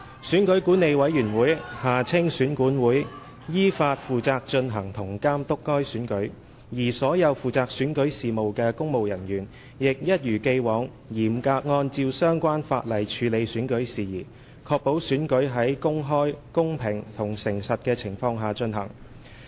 選舉管理委員會依法負責進行及監督該選舉，而所有負責選舉事務的公務人員，亦一如既往嚴格按照相關法例處理選舉事宜，確保選舉在公開、公平和誠實的情況下進行。